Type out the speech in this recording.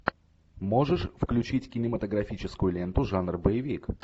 можешь включить кинематографическую ленту жанр боевик